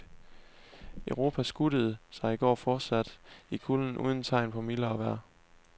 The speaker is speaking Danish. Europa skuttede sig i går fortsat i kulden uden tegn på mildere vejr.